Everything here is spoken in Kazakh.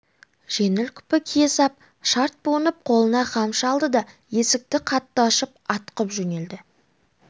жеңіл күпі кие сап шарт буынып қолына қамшы алды да есікті қатты ашып атқып жөнелді